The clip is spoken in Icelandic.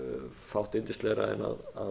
fátt yndislegra en að